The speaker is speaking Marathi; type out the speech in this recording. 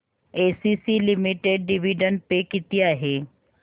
एसीसी लिमिटेड डिविडंड पे किती आहे